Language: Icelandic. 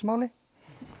máli